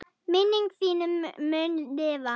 Minning þín mun lifa.